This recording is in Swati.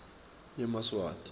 yemaswati